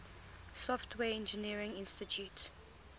software engineering institute